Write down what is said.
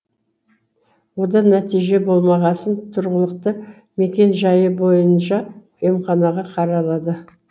одан нәтиже болмағасын тұрғылықты мекен жайы бойынша емханаға қаралады